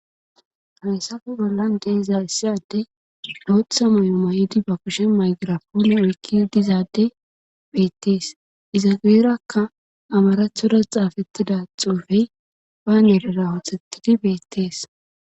haysafe bollan de'eza issi adey bootha moyo mayidi ba kushe maygirapoone oykkidiza adde beettees iza guyerakka amarathora xaafettida xuufey banerera othettidi beettees